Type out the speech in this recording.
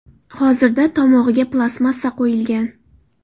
Hozirda tomog‘iga plastmassa qo‘yilgan.